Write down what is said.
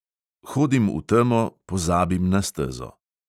Hodim v temo, pozabim na stezo.